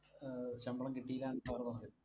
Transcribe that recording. ശമ്പളം കിട്ടീലാന്നു sir പറഞ്ഞത്.